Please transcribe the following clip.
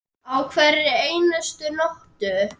Á hverri einustu nóttu.